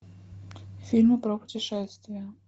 фильмы про путешествия